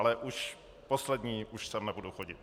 Ale už poslední, už sem nebudu chodit.